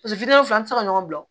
fila an tɛ se ka ɲɔgɔn bila